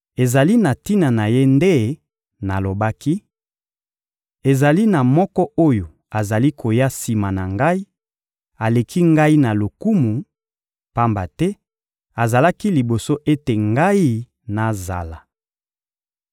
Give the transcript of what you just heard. Ezali na tina na Ye nde nalobaki: «Ezali na moko oyo azali koya sima na ngai, aleki ngai na lokumu, pamba te azalaki liboso ete ngai nazala.»